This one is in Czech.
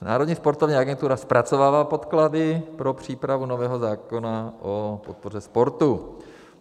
Národní sportovní agentura zpracovává podklady pro přípravu nového zákona o podpoře sportu.